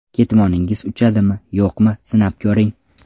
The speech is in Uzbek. Ketmoningiz uchadimi, yo‘qmi, sinab ko‘ring.